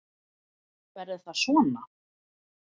Verður það svona?